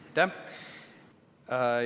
Aitäh!